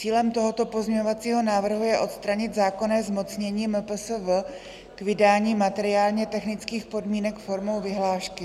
Cílem tohoto pozměňovacího návrhu je odstranit zákonné zmocnění MPSV k vydání materiálně-technických podmínek formou vyhlášky.